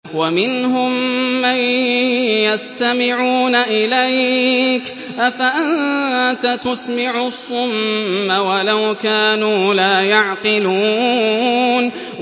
وَمِنْهُم مَّن يَسْتَمِعُونَ إِلَيْكَ ۚ أَفَأَنتَ تُسْمِعُ الصُّمَّ وَلَوْ كَانُوا لَا يَعْقِلُونَ